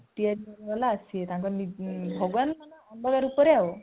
ତିଆରି କରିବା ଵାଲା ଆସିବେ ଭଗବାନଙ୍କ ଅନ୍ୟ ରୂପରେ ଆଉ